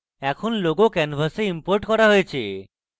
এখন logo canvas imported করা হয়েছে